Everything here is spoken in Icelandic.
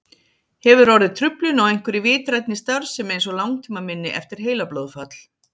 Hefur orðið truflun á einhverri vitrænni starfsemi eins og langtímaminni eftir heilablóðfall?